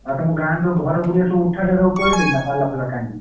ଆଉ ତମ ଗାଁ ରେ ଘର ବୁଡ଼ିବା ସବୁ ଉଠା ଜାଗା ପଳେଇଲେଣି ନା ପାଲ ଫାଲ ଟାଣି।